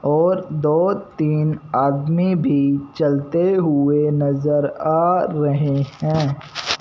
और दो तीन आदमी भी चलते हुए नजर आ रहे हैं।